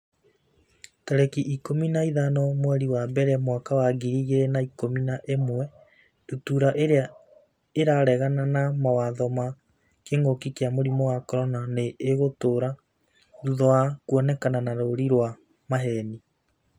tarĩki ikũmi na ithano mweri wa mbere mwaka wa ngiri igĩrĩ na ikũmi na ĩmwe Ndutura irĩa 'ĩraregana na mawatho ma kĩngũki kia mũrimũ wa CORONA nĩ ĩgũtũra thutha wa kuonekana na rũũri rwa maheeni.